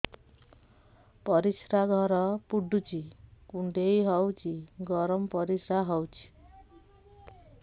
ପରିସ୍ରା ଘର ପୁଡୁଚି କୁଣ୍ଡେଇ ହଉଚି ଗରମ ପରିସ୍ରା ହଉଚି